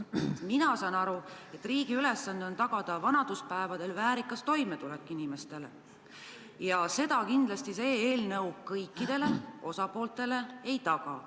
Mina saan aru, et riigi ülesanne on tagada inimestele vanaduspäevadel väärikas toimetulek, ja seda kindlasti see eelnõu, kui see seaduseks saab, kõikidele osapooltele ei taga.